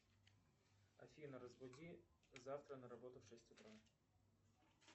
афина разбуди завтра на работу в шесть утра